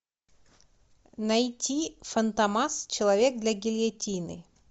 найти фантомас человек для гильотины